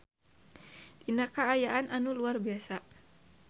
Dina kaayaan anu luar biasa.